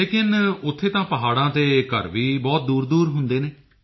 ਲੇਕਿਨ ਉੱਥੇ ਤਾਂ ਪਹਾੜਾਂ ਤੇ ਘਰ ਵੀ ਬਹੁਤ ਦੂਰਦੂਰ ਹੁੰਦੇ ਹਨ